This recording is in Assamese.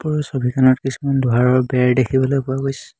ওপৰৰ ছবিখনত কিছুমান লোহাৰৰ বেৰ দেখিবলৈ পোৱা গৈছে।